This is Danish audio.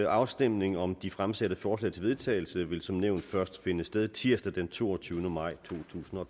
afstemningen om de fremsatte forslag til vedtagelse vil som nævnt først finde sted tirsdag den toogtyvende maj totusinde og